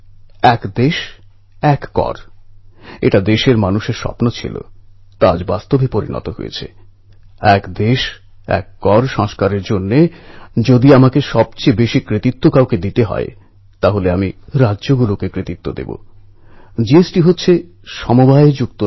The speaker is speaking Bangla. এলাহাবাদের চন্দ্রশেখর আজাদ পার্কেও শ্রদ্ধা জ্ঞাপন করার সুযোগ মিলেছে এবং চন্দ্রশেখর আজাদজী সেই বীর ছিলেন যিনি বিদেশীদের গুলিতে মরতে চাইতেন না বাঁচলে স্বাধীনতার জন্য লড়তে লড়তে বাঁচব আর মরলেও স্বাধীনতা অর্জন করেই মরবো এই ছিল ওঁর বৈশিষ্ট্য